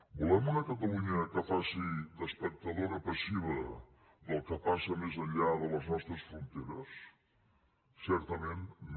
volem una catalunya que faci d’espectadora passiva del que passa més enllà de les nostres fronteres certament no